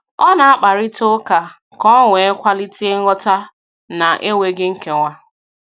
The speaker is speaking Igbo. Ọ na-akparịta ụka ka o wee kwalite nghọta na - enweghị nkewa